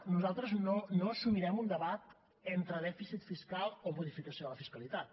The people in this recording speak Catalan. nosaltres no assumirem un debat entre dèficit fiscal o modificació de la fiscalitat